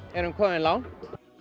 erum komin langt